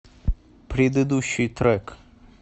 предыдущий трек